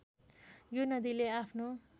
यो नदीले आफ्नो